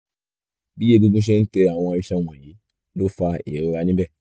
bí egungun ṣe ń tẹ àwọn iṣan wọ̀nyii ló fa ìrora níbẹ̀